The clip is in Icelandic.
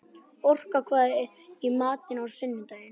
Orka, hvað er í matinn á sunnudaginn?